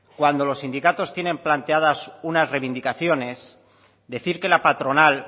cuando los sindicatos tienen planteadas unas reivindicaciones decir que la patronal